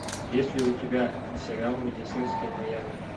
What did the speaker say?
есть ли у тебя сериал медицинское майами